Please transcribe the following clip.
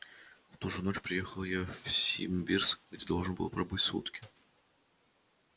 в ту же ночь приехал я в симбирск где должен был пробыть сутки